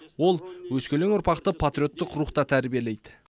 ол өскелең ұрпақты патриоттық рухта тәрбиелейді